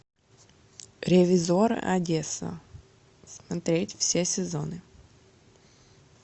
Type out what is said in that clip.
ревизор одесса смотреть все сезоны